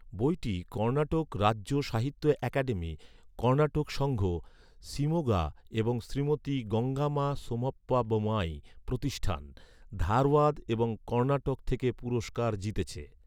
বইটি কর্ণাটক রাজ্য সাহিত্য একাডেমী, কর্ণাটক সংঘ, শিমোগা এবং শ্রীমতি গঙ্গামা সোমাপ্পা বোমাই প্রতিষ্টান, ধারওয়াদ, এবং কর্ণাটক থেকে পুরষ্কার জিতেছে।